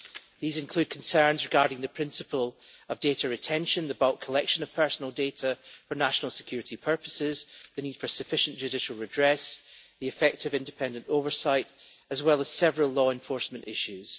These include concerns regarding the principle of data retention, the bulk collection of personal data for national security purposes, the need for sufficient judicial redress, and the effect of independent oversight, as well as several law enforcement issues.